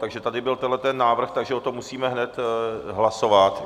Takže tady byl tenhle návrh, takže o tom musíme hned hlasovat.